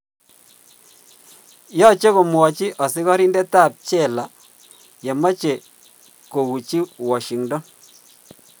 yoche komwamchi asigarindet ap chela yemoche kouchi washington